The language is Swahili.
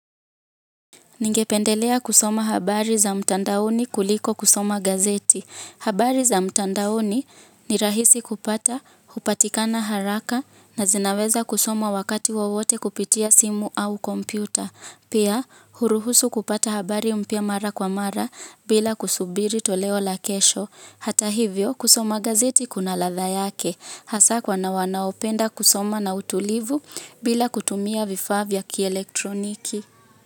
Ningependelea kusoma habari za mtandaoni kuliko kusoma gazeti. Habari za mtandaoni ni rahisi kupata, hupatikana haraka na zinaweza kusoma wakati wowote kupitia simu au kompyuta. Pia, huruhusu kupata habari mpya mara kwa mara bila kusubiri toleo la kesho. Hata hivyo, kusoma gazeti kuna ladha yake. Hasa kwa wanaopenda kusoma na utulivu bila kutumia vifaa vya kielektroniki.